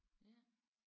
Ja